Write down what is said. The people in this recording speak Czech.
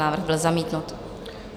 Návrh byl zamítnut.